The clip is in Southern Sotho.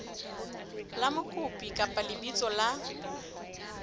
la mokopi kapa lebitso la